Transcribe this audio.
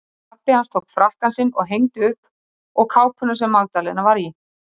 Pabbi hans tók frakkann sinn og hengdi upp og kápuna sem Magdalena var í.